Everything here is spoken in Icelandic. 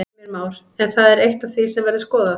Heimir Már: En það er eitt af því sem verður skoðað?